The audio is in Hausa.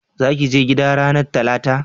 za ki je gida ranar talata?